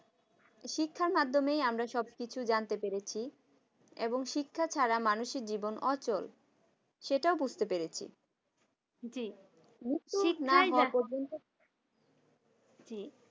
শিক্ষার মাধ্যমে আমরা সবকিছু জানতে পেরেছি এবং শিক্ষা ছাড়া মানুষের জীবন অচল সেটাও বুঝতে পেরেছি।